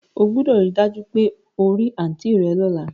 O gbúdọ̀ ri dájú pe o ri aunt rẹ lọ́la